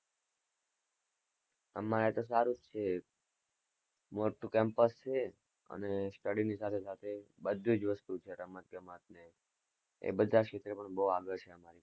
અમારે તો સારું જ છે મોટું campus છે અને study ની સાથે-સાથે બધી જ વસ્તુ છે, રમત-ગમત ને, એ બધા ક્ષેત્રમાં બોવ આગળ છે,